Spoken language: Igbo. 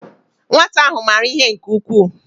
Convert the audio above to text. Nwata ahu mara ihe nke ukwuu